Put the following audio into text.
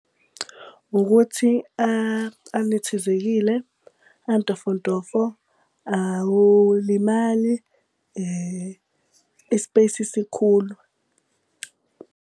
Ukuthi anethezekile, antofontofo, awulimali, i-space sikhulu.